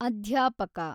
ಅಧ್ಯಾಪಕ